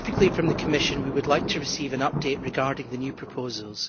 From the Commission we would like to receive an update regarding the new proposals.